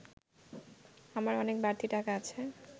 আমার অনেক বাড়তি টাকা আছে